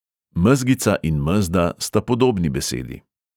Mezgica in mezda sta podobni besedi.